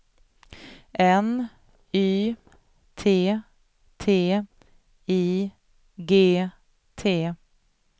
N Y T T I G T